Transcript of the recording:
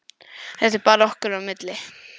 Þetta er bara okkar á milli.